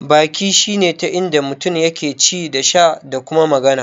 Baki shine ta inda mutum yake ci da sha da kuma magana.